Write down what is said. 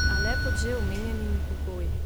A le pod že omenjenimi pogoji.